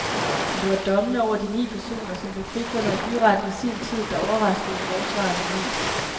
Men det var dommene over de ni personer, som blev frifundet af byretten i sin tid, der overraskede forsvarerne mest.